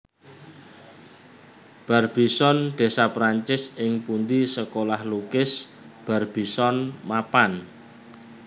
Barbizon desa Perancis ing pundi Sekolah Lukis Barbizon mapan